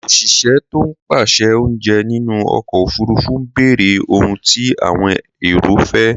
Òṣìṣẹ́ tó ń pèsè oúnjẹ nínú ọkọ òfurufú ń béèrè ohun tí àwọn èrò fẹ́